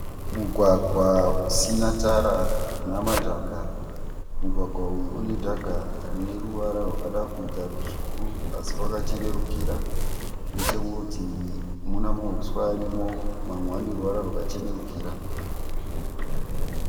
Mugwagwa usina Tara unamadhaka. Mugwagwa uyu une dhaga rine ruvara rwakada kuita tsvuku asi rwakachenurukira. Nechekurutivi muna mauswa ariko mamwe ane ruvara rwakachenerukira